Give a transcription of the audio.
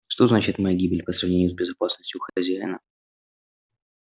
что значит моя гибель по сравнению с безопасностью хозяина